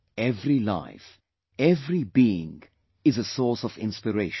Every life, every being is a source of inspiration